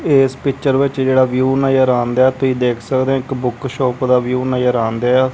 ਏਸ ਪਿੱਚਰ ਵਿੱਚ ਜਿਹੜਾ ਵਿਊ ਨਜ਼ਰ ਆਣਦਿਐ ਤੁਹੀ ਦੇਖ ਸਕਦੇ ਆਂ ਇੱਕ ਬੁੱਕ ਸ਼ੌਪ ਦਾ ਵਿਊ ਨਜ਼ਰ ਆਣਦਿਐ।